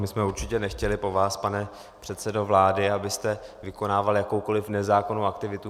My jsme určitě nechtěli po vás, pane předsedo vlády, abyste vykonával jakoukoli nezákonnou aktivitu.